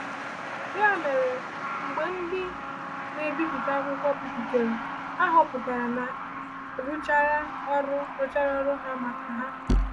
Ya mere, mgbe ndị na-ebipụta akwụkwọ bịarutere, ha chọpụtara na a rụchara ọrụ rụchara ọrụ ha maka ha!